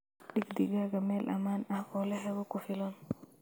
Dhig digaagga meel ammaan ah oo leh hawo ku filan.